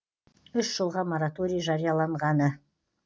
үш жылға мораторий жарияланғаны